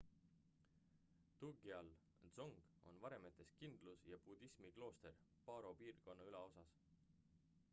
drukgyal dzong on varemetes kindlus ja budismi klooster paro piirkonna ülaosas phondey külas